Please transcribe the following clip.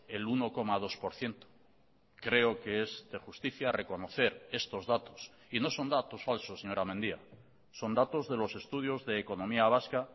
el uno coma dos por ciento creo que es de justicia reconocer estos datos y no son datos falsos señora mendia son datos de los estudios de economía vasca